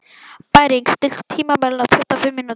Bæring, stilltu tímamælinn á tuttugu og fimm mínútur.